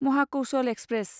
Mahakaushal express